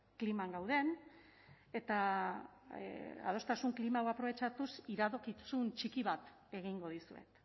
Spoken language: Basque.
kliman gauden eta adostasun klima hau aprobetxatuz iradokizun txiki bat egingo dizuet